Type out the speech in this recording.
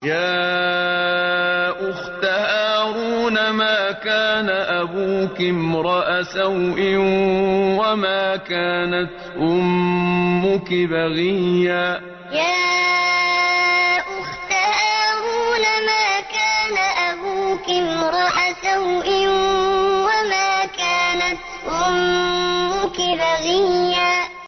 يَا أُخْتَ هَارُونَ مَا كَانَ أَبُوكِ امْرَأَ سَوْءٍ وَمَا كَانَتْ أُمُّكِ بَغِيًّا يَا أُخْتَ هَارُونَ مَا كَانَ أَبُوكِ امْرَأَ سَوْءٍ وَمَا كَانَتْ أُمُّكِ بَغِيًّا